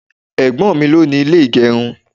Ẹ̀gbọ́n mi ló ni ilé ìgerun.